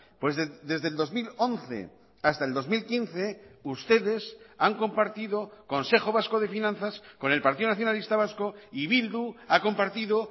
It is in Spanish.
pues desde el dos mil once hasta el dos mil quince ustedes han compartido consejo vasco de finanzas con el partido nacionalista vasco y bildu ha compartido